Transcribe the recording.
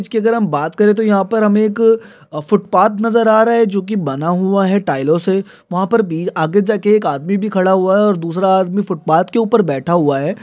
इसकी अगर हम बात करे तो हमे एक अ फुटपाथ नजर आ रहा है जोकि बना हुआ है टाइलों से| वहा पे भी आगे जाके एक आदमी भी खड़ा हुआ है और दूसरा आदमी फुटपाथ के उपर बैठा हुआ है ।